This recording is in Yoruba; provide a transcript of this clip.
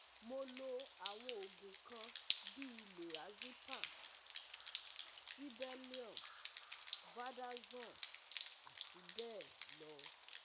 Mo lo àwọn oògùn kan bíi lorazepam sibellium valdaxon àti bẹ́ẹ̀ lọ